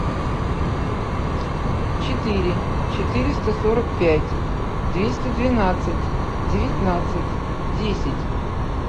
четыре четыреста сорок пять двести двенадцать девятнадцать десять